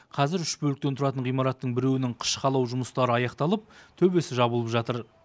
қазір үш бөліктен тұратын ғимараттың біреуінің қыш қалау жұмыстары аяқталып төбесі жабылып жатыр